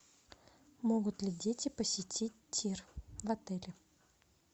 могут ли дети посетить тир в отеле